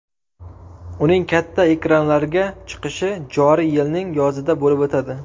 Uning katta ekranlarga chiqishi joriy yilning yozida bo‘lib o‘tadi.